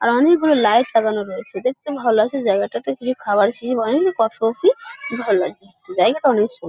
আর অনেকগুলো লাইট সাজানো রয়েছে দেখতেও ভালো লাগছে জায়গাটাতে কিছু খাবার শিশি ভরেনি কফি -মফি ভালো লাগছে দেখতে। জায়গাটা অনেক সু--